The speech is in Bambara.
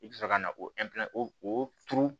I bɛ sɔrɔ ka na o o turu